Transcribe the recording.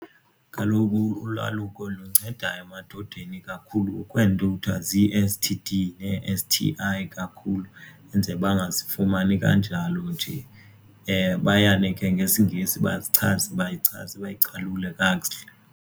Kaloku ulwaluko lunceda emadodeni ikakhulu ukwenza kuthwa zii-S_T_D nee-S_T_I kakhulu enzele bangazifumani kanjalo nje bayane ke ngesingesi bazichaze bachaze bazicalule kakuhle.